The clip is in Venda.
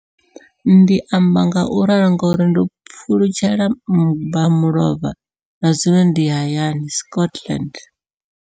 Ndi amba ngauralo nga uri ndo pfulutshela mmba mulovha na zwino ndi hayani, Scotland.